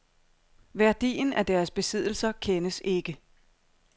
Værdien af deres besiddelser kendes ikke.